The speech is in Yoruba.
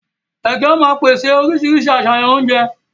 Ègé ó má pèsè oríṣiríṣi àṣàyàn oúnjẹ